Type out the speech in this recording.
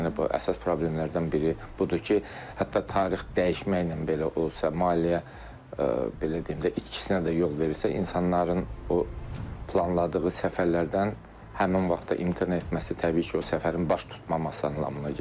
Yəni bu əsas problemlərdən biri budur ki, hətta tarix dəyişməklə belə olsa, maliyyə belə deyim də itkisinə də yol verirsə, insanların o planladığı səfərlərdən həmin vaxtda imtina etməsi təbii ki, o səfərin baş tutmaması anlamına gəlir.